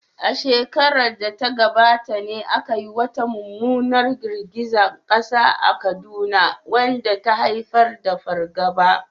A shekarar da ta gabata ne aka yi wata mummunar girgizar kasa a Kaduna wadda ta haifar da fargaba.